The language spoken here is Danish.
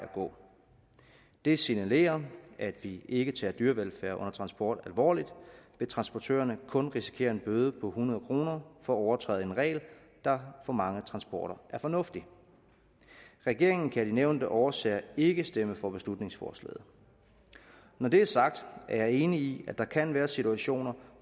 gå det signalerer at vi ikke tager dyrevelfærd under transport alvorligt hvis transportøren kun risikerer en bøde på hundrede kroner for at overtræde en regel der for mange transporter er fornuftig regeringen kan af de nævnte årsager ikke stemme for beslutningsforslaget når det er sagt er jeg enig i at der kan være situationer